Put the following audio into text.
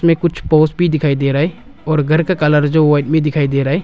में कुछ पोस्ट भी दिखाई दे रहा है और घर का कलर जो व्हाइट में दिखाई दे रहा है।